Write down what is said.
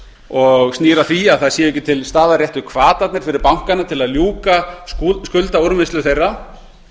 og snýr að því að ekki séu til staðar réttu hvatarnir fyrir bankana til að ljúka skuldaúrvinnslu þeirra